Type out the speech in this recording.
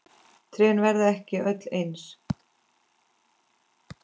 Trén verða ekki öll eins.